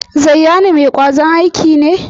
Zayyanu mai kwazon aiki ne?